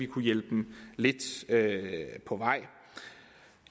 kunne hjælpe dem lidt på vej